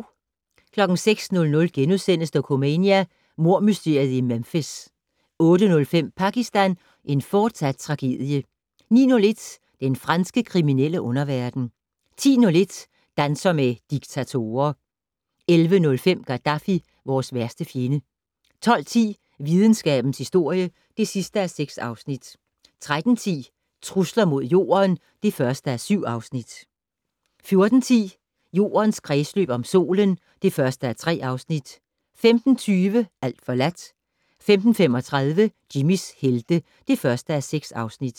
06:00: Dokumania: Mordmysteriet i Memphis * 08:05: Pakistan - en fortsat tragedie 09:01: Den franske kriminelle underverden 10:01: Danser med diktatorer 11:05: Gaddafi - vores værste fjende 12:10: Videnskabens historie (6:6) 13:10: Trusler mod Jorden (1:7) 14:10: Jordens kredsløb om solen (1:3) 15:20: Alt forladt 15:35: Jimmys helte (1:6)